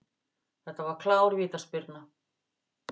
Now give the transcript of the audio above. Þetta var klár vítaspyrna.